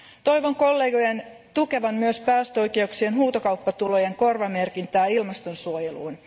Toivon kollegojen tukevan myös päästöoikeuksien huutokauppatulojen korvamerkintää ilmaston suojeluun.